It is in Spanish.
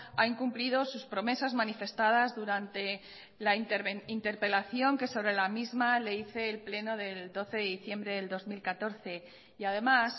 ha incumplido sus promesas manifestadas durante la interpelación que sobre la misma le hice el pleno del doce de diciembre del dos mil catorce y además